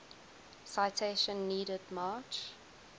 citation needed march